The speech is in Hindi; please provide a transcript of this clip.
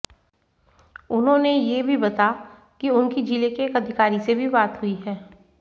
उन्होंने ये भी बता कि उनकी जिले के एक अधिकारी से भी बात हुई है